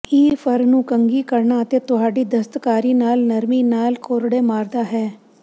ਇਹ ਫਰ ਨੂੰ ਕੰਘੀ ਕਰਨਾ ਅਤੇ ਤੁਹਾਡੀ ਦਸਤਕਾਰੀ ਨਾਲ ਨਰਮੀ ਨਾਲ ਕੋਰੜੇ ਮਾਰਦਾ ਹੈ